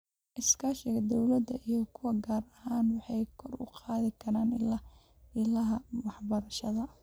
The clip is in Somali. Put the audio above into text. Iskaashiga dawladda iyo kuwa gaarka ah waxay kor u qaadi karaan ilaha waxbarashada.